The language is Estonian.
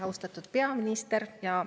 Austatud peaminister!